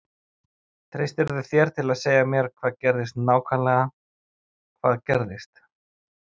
Treystirðu þér til að segja mér hvað gerðist nákvæmlega hvað gerðist?